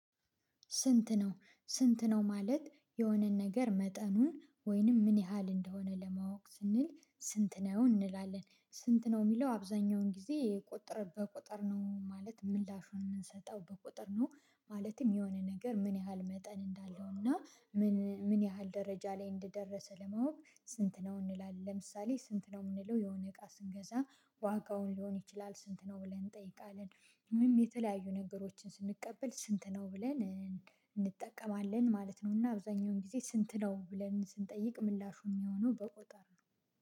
ስንት ነው? ስንት ነው ማለት የሆነን ነገር መጠኑን ወይንም ምን ያህል እንደሆነ ለማወቅ ስንል ስንት ነው እንላለን ስንት ነው የሚለው አብዛኛውን ጊዜ ቁጥርን በቁጠር ነው ማለት ምላሹን የምንሰጠው በቁጥር ነው። ማለትም የሆነ ነገር ምን ያህል መጠን እንዳለው እና ምን ምን ያህል ደረጃ ላይ እንደደረሰ ለማወቅ ስንት ነው እንላለን ለምሳሌ ስንት ነው የምንለው የሆነ እቃ ስንገዛ ዋጋውን ሊሆን ይችላል ስንት ነው ብለን እንጠይቃለን። ምንም የተለያዩ ነገሮችን ስንቀበል ስንት ነው? ብለን ማለት ነው። እና አብዛኛውን ጊዜ ስንት ነው ብለን ስንጠይቅ ምላሹ የሚሆነው በቁጥር ነው